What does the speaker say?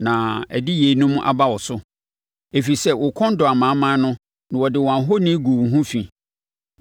na ɛde yeinom aba wo so, ɛfiri sɛ wo kɔn dɔɔ amanaman no na wode wɔn ahoni guu wo ho fi.